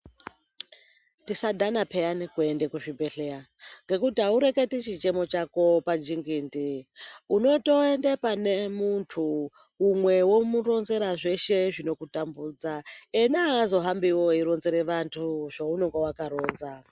Tisadhana pheyani kuenda kuzvibhedhleya ngekuti haureketi chichemo chako pajengendee, unotoenda pane muntu umwe womuronzera zveshe zvinokutambudza, ena haazohambiwo eironzerea vantu, zveunonga wakaronza .